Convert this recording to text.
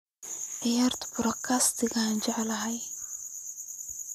ciyaaro podcast-ka aan jeclahay